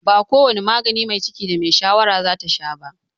Ba ko wane magani mai ciki da mai shayarwa zata sha ba.